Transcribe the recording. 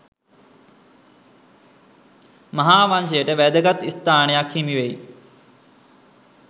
මහා වංශයට වැදගත් ස්ථානයක් හිමිවෙයි.